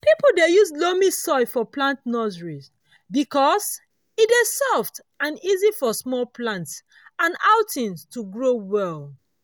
people dey use loamy soil for plant nurseries because e dey soft and easy for small plants and cuttings to grow well.